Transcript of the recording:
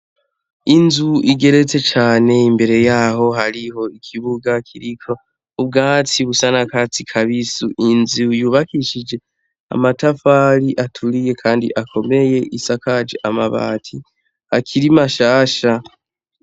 Inzu igeretse cane imbere yaho hariho ikibuga kiriko ubwatsi busa n'akatsi kabisi ,inzu yubakishijwe amatafari aturiye, kandi akomeye isakaje Amabati akiri mashasha.